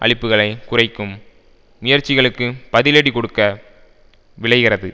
அளிப்புக்களை குறைக்கும் முயற்சிகளுக்கு பதிலடி கொடுக்க விழைகிறது